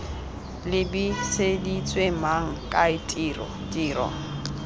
lebiseditswe mang kae tiro tiro